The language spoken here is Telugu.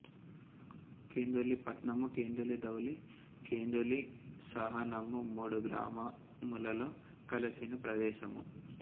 కెందులి పట్నము కెందులి దౌళి కెందులి సాసనము మూడు గ్రామములలో కలసిన ప్రదేసము